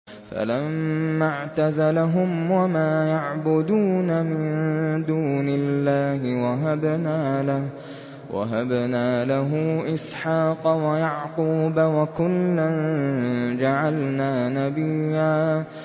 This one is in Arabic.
فَلَمَّا اعْتَزَلَهُمْ وَمَا يَعْبُدُونَ مِن دُونِ اللَّهِ وَهَبْنَا لَهُ إِسْحَاقَ وَيَعْقُوبَ ۖ وَكُلًّا جَعَلْنَا نَبِيًّا